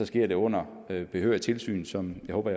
sker det under behørigt tilsyn som jeg håber